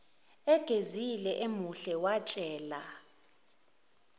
egezile emuhle watshela